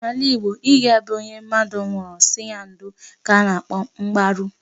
N'ala Igbo, ịga be onye mmadụ nwụụrụ sị ya ndo ka a na-akpọ mgbaru.